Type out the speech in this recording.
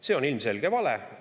See on ilmselge vale.